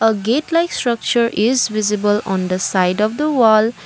a gate like structure is visible on the side of the wall.